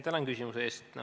Tänan küsimuse eest!